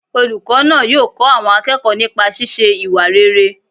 Olùkọ́ náà yóò kọ́ àwọn akẹ́kọ̀ọ́ nipa sísé ìwà rere